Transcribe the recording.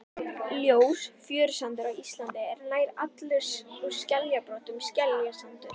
Ljós fjörusandur á Íslandi er nær allur úr skeljabrotum, skeljasandur.